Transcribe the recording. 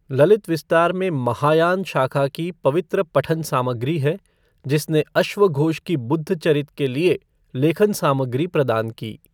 ललित विस्तार में महायान शाखा की पवित्र पठन सामग्री है जिसने अश्वघोष की बुद्धचरित के लिए लेखन सामग्री प्रदान की।